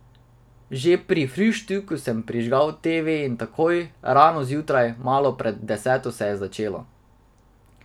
Že pri fruštku sem prižgal teve in takoj, rano zjutraj, malo pred deseto se je začelo.